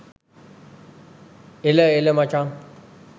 එළ එළ මචන්